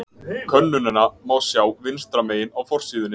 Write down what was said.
Könnunina má sjá vinstra megin á forsíðunni.